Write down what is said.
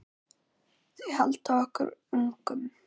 Þau halda okkur ungum.